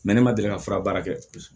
ne ma deli ka fura baara kɛ